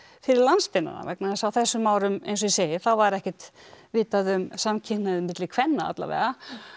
fyrir landsteinana vegna þess að á þessum árum eins og ég segi þá var ekkert vitað um samkynhneigð milli kvenna alla vega